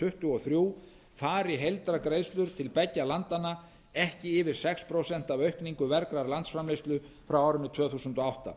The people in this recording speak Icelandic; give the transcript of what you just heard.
tuttugu og þrjú fari heildargreiðslur til beggja landanna ekki yfir sex prósent af aukningu vergrar landsframleiðslu frá árinu tvö þúsund og átta